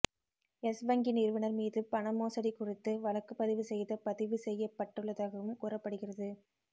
S வங்கி நிறுவனர் மீது பண மோசடி குறித்து வழக்கு பதிவு செய்த பதிவு செய்யப்பட்டுள்ளதாகவும் கூறப்படுகிறது